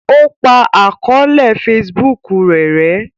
o pa àkọọlẹ Facebook rẹ rè